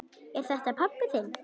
Er þetta pabbi þinn?